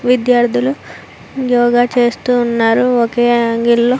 విద్యార్థులు యోగా చేస్తున్నారు okay angle లో --